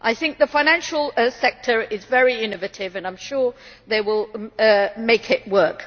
I think the financial sector is very innovative and I am sure they will make it work.